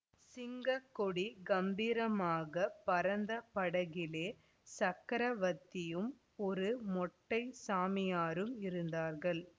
சிங்க கொடி கம்பீரமாகப் பறந்த படகிலே சக்கரவர்த்தியும் ஒரு மொட்டைச் சாமியாரும் இருந்தார்கள்